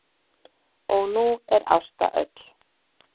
Og nú er Ásta öll.